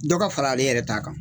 Dɔ ka fara ale yɛrɛ t'a kan